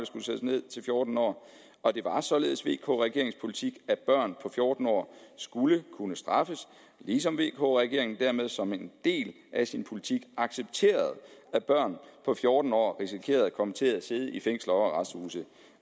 skulle sættes ned til fjorten år og det var således vk regeringens politik at børn på fjorten år skulle kunne straffes ligesom vk regeringen dermed som en del af sin politik accepterede at børn på fjorten år risikerede at komme til at sidde i fængsler og arresthuse